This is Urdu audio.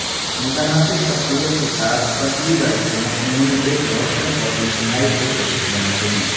متناسب شخصیت کے ساتھ پتلی لڑکیوں انہوں نے ایک روشن اور انتہائی پرکشش بناتے ہیں